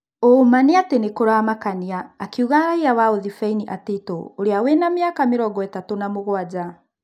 "ũũma nĩatĩ nĩkũramakania", Akiuga raiya wa ũthibeini Atito ũrĩa wĩna mĩaka mĩrongoĩtatũ na mũgwanja.